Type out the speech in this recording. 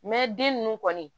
den ninnu kɔni